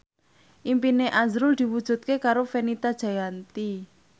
impine azrul diwujudke karo Fenita Jayanti